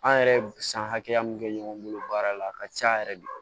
An yɛrɛ ye san hakɛya min kɛ ɲɔgɔn bolo baara la a ka ca yɛrɛ de